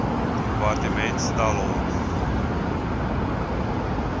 departement stel hom